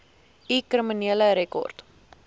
u kriminele rekord